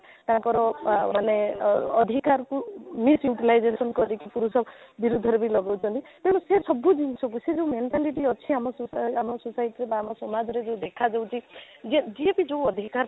ତାଙ୍କର ଅଃ ମାନେ ଅଃ ଅଧିକାରକୁ misutilization କରିକି ପୁରୁଷ ବିରୁଦ୍ଧରେ ବି ଲଗଉଛନ୍ତି ତେଣୁ ସେ ସବୁ ଜିନିଷକୁ ସେ ଯାଉ mentality ଅଛି ଆମ ସହିତ ଆମ society ବା ଆମ ସମାଜରେ ଯଉ ଦେଖା ଯାଉଛି ଯେ ଯିଏ ବି ଯାଉ ଅଧିକାର ପାଉଛି